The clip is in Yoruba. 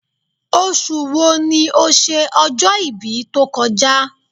Oṣù wo ni o ṣe ọjọ́-ibí tó kọ já?